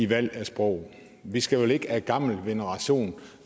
valg af sprog vi skal vel ikke af gammel veneration